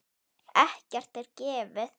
Ekkert er gefið.